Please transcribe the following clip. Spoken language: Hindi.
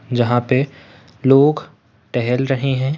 जहाँ पर लोग टहल रहे रखे है।